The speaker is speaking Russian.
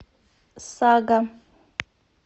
сага